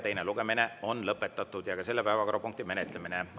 Teine lugemine ja ka selle päevakorrapunkti menetlemine on lõpetatud.